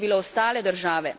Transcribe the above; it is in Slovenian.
Kje so bile ostale države?